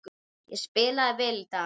Ég spilaði vel í dag.